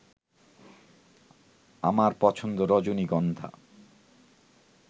আমার পছন্দ রজনীগন্ধা